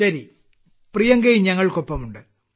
ശരി പ്രിയങ്കയും ഞങ്ങൾക്കൊപ്പമുണ്ട്